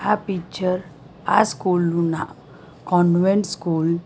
આ પિક્ચર આ સ્કૂલનું ના કોન્વેન્ટ સ્કૂલ --